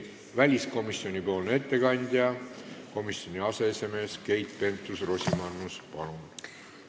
Väliskomisjoni ettekandja, komisjoni aseesimees Keit Pentus-Rosimannus, palun!